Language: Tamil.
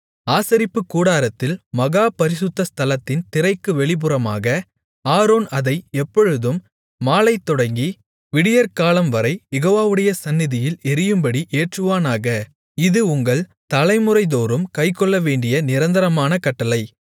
ஆசரிப்புக்கூடாரத்தில் மகா பரிசுத்த ஸ்தலத்தின் திரைக்கு வெளிப்புறமாக ஆரோன் அதை எப்பொழுதும் மாலைதொடங்கி விடியற்காலம்வரை யெகோவாவுடைய சந்நிதியில் எரியும்படி ஏற்றுவானாக இது உங்கள் தலைமுறைதோறும் கைக்கொள்ளவேண்டிய நிரந்தரமான கட்டளை